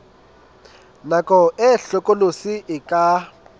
nako e hlokolosi e ka